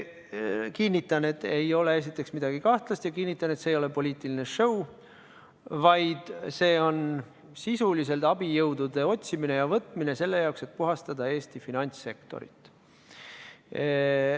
Kinnitan, et seal ei ole midagi kahtlast, ja kinnitan, et see ei ole poliitiline show, vaid see on sisuliselt abijõudude otsimine ja võtmine selle jaoks, et puhastada Eesti finantssektorit.